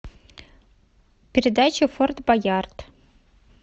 передача форт боярд